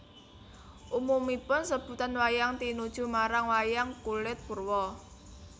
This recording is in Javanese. Umumipun sebutan wayang tinuju marang wayang kulit purwa